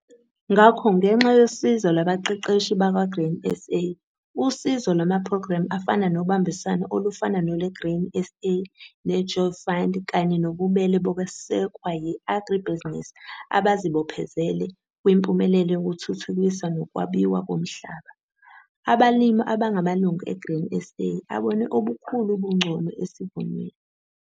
Ngakho ngenxa yosizo lwabaqeqeshi bakwa-Grain SA, usizo lwamaphrogremu afana nobambiswano olufana nolwe-Grain SA ne-Jobs Fund kanye nobubele bokwesekwa yi-agribusiness abazibophezele kwimpumelelo yokuthuthukiswa nokwabiwa komhlaba, abalimi abangamalungu e-Grain SA abone obukhulu ubungcono esivunweni.